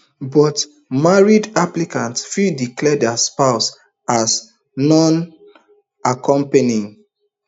but married applicants fit declare dia spouse as nonaccompany